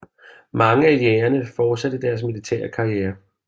Mange af Jägerne fortsatte deres militære karrierer